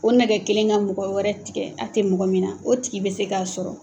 O nɛgɛ kelen ka mɔgɔ wɛrɛ tigɛ a tɛ mɔgɔ min na o tigi bɛ se k'a sɔrɔ.